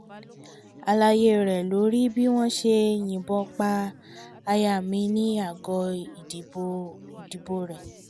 àlàyé rèé lórí bí wọ́n ṣe yìnbọn pa aya mi ní àgọ́ ìdìbò rẹ̀